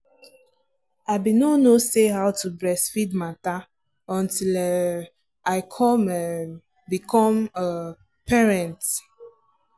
i been no no say how to breastfeed matter until um i come um become um parent.